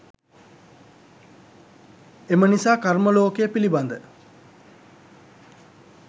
එම නිසා කර්ම ලෝකය පිළිබඳ